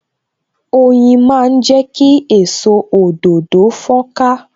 Oyin máa ń jẹ ki èso òdòdó fon ka